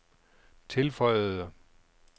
tilføjede